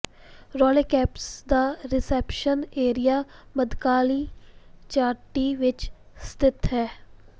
ਰੋਲੈ campus ਦਾ reception area ਮੱਧਕਾਲੀ ਚਾਟੀ ਵਿਚ ਸਥਿਤ ਹੈ